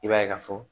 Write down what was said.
I b'a ye ka fɔ